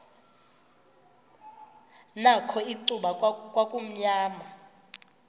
nakho icuba kwakumnyama